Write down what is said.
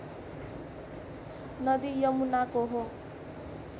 नदी यमुनाको हो